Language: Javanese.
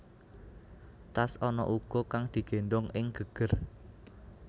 Tas ana uga kang digéndhong ing geger